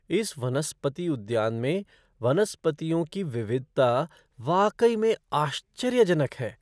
इस वनस्पति उद्यान में वनस्पतियों की विविधता वाकई में आश्चर्यजनक है!